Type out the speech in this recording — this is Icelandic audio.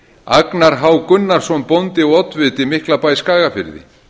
agnar h gunnarsson bóndi og oddviti miklabæ skagafirði